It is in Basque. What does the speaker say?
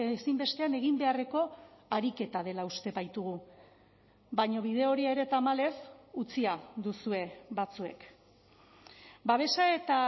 ezinbestean egin beharreko ariketa dela uste baitugu baina bide hori ere tamalez utzia duzue batzuek babesa eta